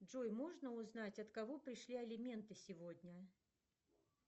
джой можно узнать от кого пришли алименты сегодня